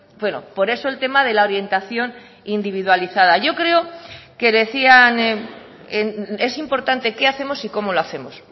bueno por eso el tema de la orientación individualizada yo creo que decían es importante qué hacemos y cómo lo hacemos